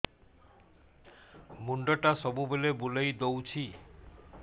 ମୁଣ୍ଡଟା ସବୁବେଳେ ବୁଲେଇ ଦଉଛି